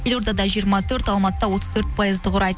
елордада жиырма төрт алматыда отыз төрт пайызды құрайды